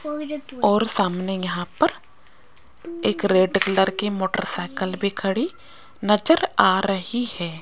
और सामने यहां पर एक रेड कलर की मोटर साइकिल भी खड़ी नजर आ रही है।